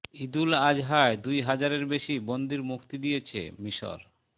ঈদুল আজহায় দুই হাজারের বেশি বন্দির মুক্তি দিয়েছে মিসর